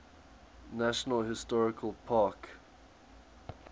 national historical park